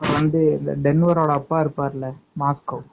வந்து இன்னொரு ஆள் அப்பா இருப்பாருல மாஸ்க்கோவ்